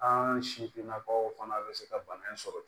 An sifinnakaw fana bɛ se ka bana in sɔrɔ